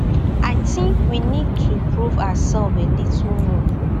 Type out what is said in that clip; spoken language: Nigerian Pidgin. i tink we need to prove ourselves a little more